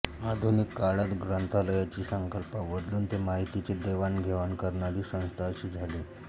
आधुनिक काळात ग्रंथालयांची संकल्पना बदलून ते माहितीचे देवाण घेवाण करणारी संस्था अशी झाली आहे